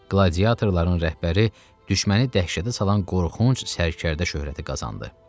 Qladiatorların rəhbəri düşməni dəhşətə salan qorxunc sərkərdə şöhrəti qazandı.